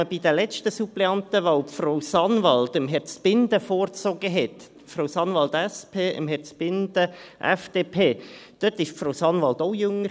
Als man bei der letzten Suppleantenwahl Frau Sanwald Herrn Zbinden vorzog – Frau Sanwald von der SP, Herrn Zbinden von der FDP –, war Frau Sanwald auch jünger.